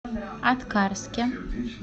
аткарске